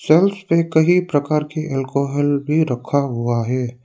Church पे कई प्रकार के अल्कोहल भी रखा हुआ है।